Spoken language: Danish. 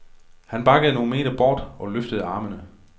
Han bakkede nogle meter bort og løftede armene.